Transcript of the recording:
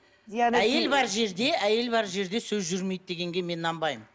әйел бар жерде әйел бар жерде сөз жүрмейді дегенге мен нанбаймын